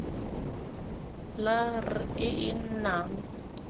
la r e e nnang